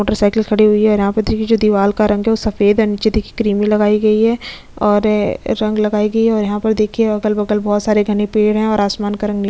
Motorcycle खड़ी हुई है यहाँ पर देखिये जो दीवाल का रंग है वो सफ़ेद है निचे देखिये क्रीमी लगाई गयी है और ए रंग लगाए गए है और यहाँ पर देखिये अगल-बगल बहोत सारे घने पेड़ है और आसमान का रंग नीला है।